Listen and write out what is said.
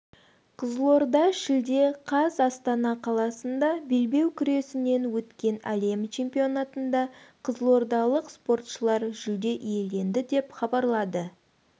қызылорда шілде қаз астана қаласында белбеу күресінен өткен әлем чемпионатында қызылордалық спортшылар жүлде иеленді деп хабарлады